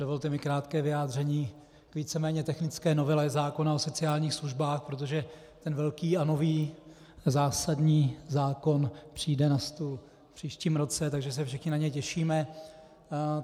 Dovolte mi krátké vyjádření k víceméně technické novele zákona o sociálních službách, protože ten velký a nový, zásadní zákon přijde na stůl v příštím roce, takže se všichni na něj těšíme.